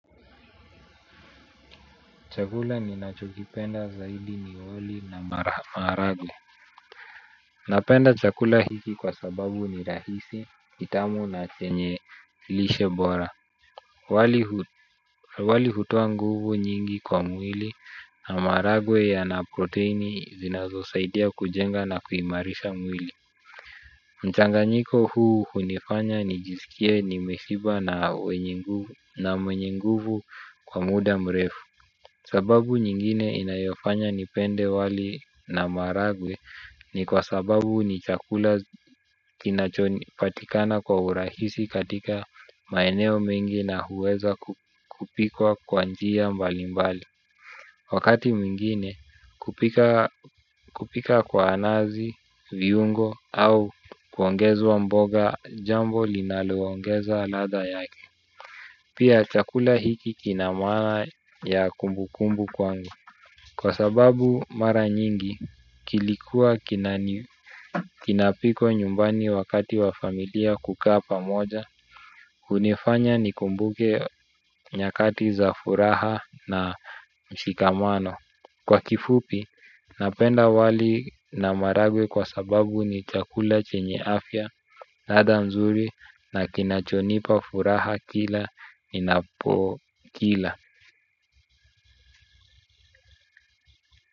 Chakula ninachokipenda zaidi niwoli na maragwe. Napenda chakula hiki kwa sababu ni rahisi, itamu na chenye lishebora. Wali hutoa nguvu nyingi kwa mwili na maragwe yana proteini zinazosaidia kujenga na kuimarisha mwili. Mchanganyiko huu hunifanya nijisikie nimeshiba na mwenye nguvu kwa muda mrefu. Sababu nyingine inayofanya nipende wali na maragwe ni kwa sababu ni chakula kinachoni patikana kwa urahisi katika maeneo mingi na huweza kupikwa kwa njia mbali mbali. Wakati muingine kupika kwa nazi, viungo au kuongezuwa mboga jambo linaloongeza lada yake. Pia chakula hiki kinamaa ya kumbu kumbu kwangu. Kwa sababu mara nyingi kilikuwa kinapiko nyumbani wakati wa familia kukaa pamoja. Hunifanya nikumbuke nyakati za furaha na mshikamano. Kwa kifupi napenda wali na maragwe kwa sababu ni chakula chenye afya ladha mzuri na kinachonipa furaha kila ninapo kila. Kwa hivyo.